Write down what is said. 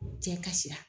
Cɛ kasira